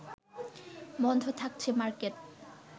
বন্ধ থাকছে মার্কেট